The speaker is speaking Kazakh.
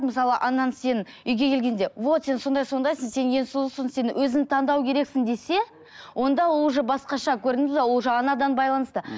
мысалы анаң сен үйге келгенде вот сен сондай сондайсың сен ең сұлусың сен өзің таңдау керексің десе онда ол уже басқаша көрдіңіз бе ол уже анадан байланысты